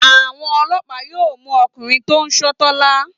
Àwọn ọlọ́pàá yóò mú ọkùnrin tó ń ṣọ́ Tọ́lá.